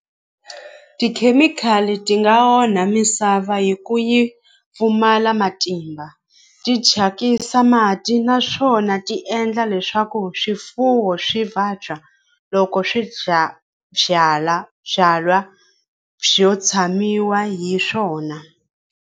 Tikhemikhali ti nga onha misava hi ku yi pfumala matimba ti chakisa mati naswona ti endla leswaku swifuwo swi vabya loko swi dya byalwa byo tshamiwa hi swona.